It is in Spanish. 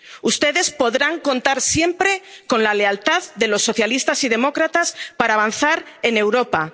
Ustedes podrán contar siempre con la lealtad de los socialistas y demócratas para avanzar en Europa.